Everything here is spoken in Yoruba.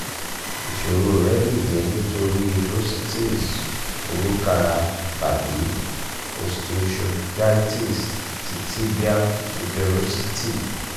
iṣoro rẹ le jẹ nitori bursitis orukara tabi osteochondritis ti tibial tuberosity